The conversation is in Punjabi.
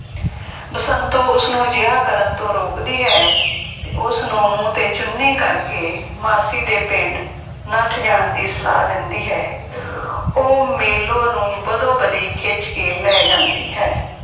ਬਸੰਤੋ ਉਸਨੂੰ ਅਜਿਹਾ ਕਰਨ ਤੋਂ ਰੋਕਦੀ ਹੈ ਤੇ ਉਸਨੂੰ ਮੂੰਹ ਤੇ ਚੁੰਨੀ ਕਰਕੇ ਮਾਸੀ ਦੇ ਪਿੰਡ ਨੱਠ ਜਾਣ ਦੀ ਸਲਾਹ ਦਿੰਦੀ ਹੈ ਉਹ ਮੇਲੋ ਨੂੰ ਬਦੋ-ਬਦੀ ਖਿੱਚ ਕੇ ਲੈ ਜਾਂਦੀ ਹੈ।